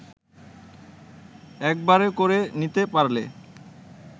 একবারে করে নিতে পারলে